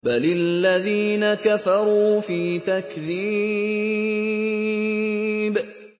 بَلِ الَّذِينَ كَفَرُوا فِي تَكْذِيبٍ